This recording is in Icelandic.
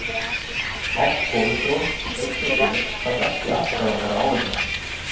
Hátt kólesteról eitt og sér þarf ekki alltaf að vera áhyggjuefni.